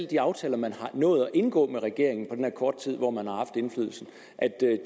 de aftaler man har nået at indgå med regeringen på den her korte tid hvor man har haft indflydelsen